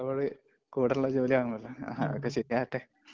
പഠനത്തോട് കൂടൊള്ള ജോലിയാണല്ലോ അല്ലെ. അതൊക്കെ ശരിയാകട്ടെ.